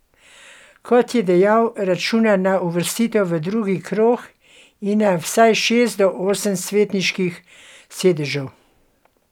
Kot je dejal, računa na uvrstitev v drugi krog in na vsaj šest do osem svetniških sedežev.